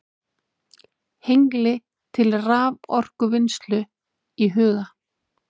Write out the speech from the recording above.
Hengli til raforkuvinnslu í huga.